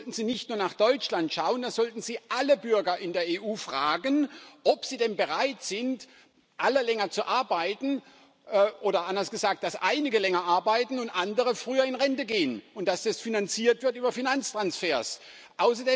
Da sollten Sie nicht nur nach Deutschland schauen, da sollten Sie alle Bürger in der EU fragen, ob sie denn bereit sind, alle länger zu arbeiten, oder anders gesagt dass einige länger arbeiten und andere früher in Rente gehen und das über Finanztransfers finanziert wird.